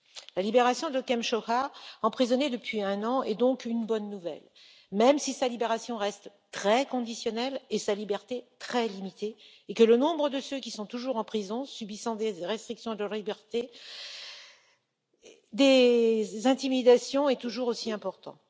La libération de Kem Sokha, emprisonné depuis un an, est donc une bonne nouvelle, même si sa libération reste très conditionnelle, que sa liberté demeure très limitée et que le nombre de ceux qui sont toujours en prison, subissant des restrictions de liberté et des intimidations, est toujours aussi important.